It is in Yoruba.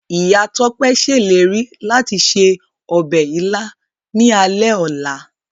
Ìyá Tọ́pẹ́ ṣèlérí láti se ọbẹ̀ Ìlá ní alẹ́ ọla.